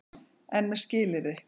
EN MEÐ SKILYRÐI.